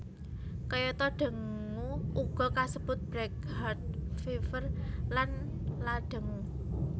Kayata dengue uga kasebut breakheart fever lan la dengue